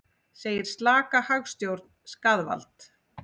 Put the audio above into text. Segir slaka hagstjórn skaðvald